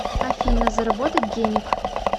афина заработать денег